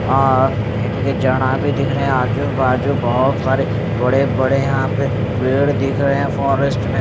और इनके जना भी दिख रहे आजू बाजू बहोत सारे बड़े बड़े यहां पे पेड़ दिख रहे है। फॉरेस्ट में--